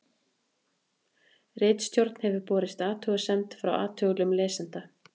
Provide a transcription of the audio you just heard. Ritstjórn hefur borist athugasemd frá athugulum lesanda.